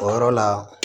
O yɔrɔ la